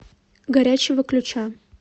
горячего ключа